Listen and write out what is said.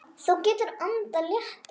Þú getur andað léttar!